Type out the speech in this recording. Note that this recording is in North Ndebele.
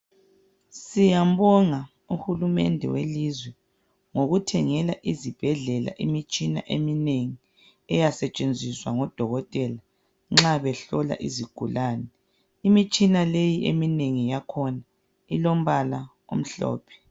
siyambonga uhulumende welizwe ngokuthengela izibhedlela imitshina eminengi eyasetshenziswa ngodokotela nxa behlola izigulane imitshina leyi emineng yakhona ilompala omhlophe